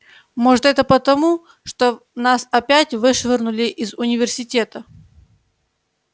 может это потому что нас опять вышвырнули из университета